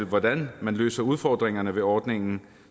hvordan man løser udfordringerne ved ordningen